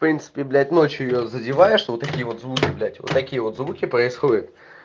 в принципе блять ночью её задеваешь вот такие вот звуки блять вот такие вот звуки происходят